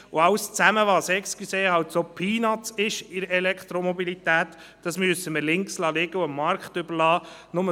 Alles, was in der Elektromobilität «Peanuts» sind, müssen wir links liegen lassen und dem Markt überlassen.